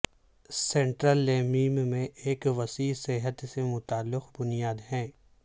سنٹرلیمیم میں ایک وسیع صحت سے متعلق بنیاد ہے